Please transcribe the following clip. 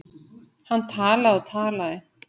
Hann talaði og talaði.